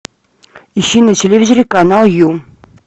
ищи на телевизоре канал ю